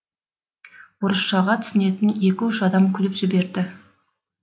орысшаға түсінетін екі үш адам күліп жіберді